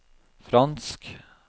fransk